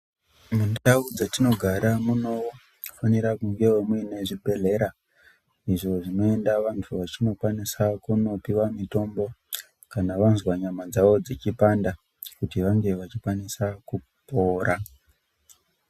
Mundau dzetinogara munofanira kungewo muine zvibhedhlera izvo zvinoenda vantu vechindokwanisa kundopiwe mitombo kana vanzwa nyama dzavo dzichipanda kuti vange vachikwanisa kupora